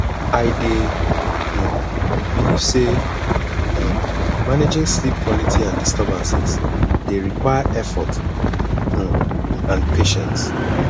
i dey um believe say um managing sleep quality and disturbances dey require effort um and patience